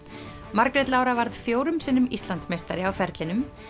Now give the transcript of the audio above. Margrét Lára varð fjórum sinnum Íslandsmeistari á ferlinum